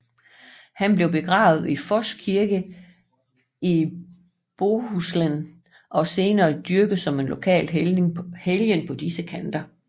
Han blev begravet i Foss kirke i Båhuslen og senere dyrket som lokal helgen på de kanter